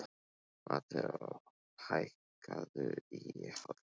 Mateó, hækkaðu í hátalaranum.